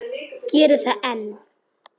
Gerir það enn.